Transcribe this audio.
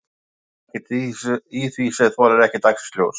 En það er ekkert í því sem þolir ekki dagsins ljós?